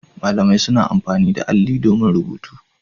Malamai suna amfani da alli domin rubutu.